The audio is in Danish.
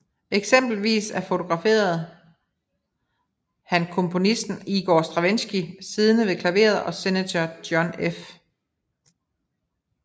Eksempelvis fotograferede han komponisten Igor Stravinskij siddende ved klaveret og senator John F